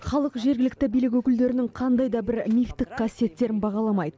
халық жергілікті билік өкілдерінің қандай да бір мифтік қасиеттерін бағаламайды